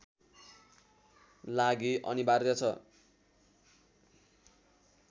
लागि अनिवार्य छ